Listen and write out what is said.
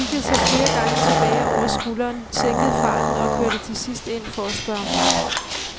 Han kiggede sig flere gange tilbage over skulderen, sænkede farten og kørte til sidst ind for at spørge om vej.